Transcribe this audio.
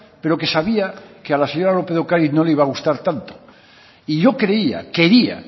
pero que sabía que a la señora lópez de ocariz no le iba a gustar tanto y yo creía quería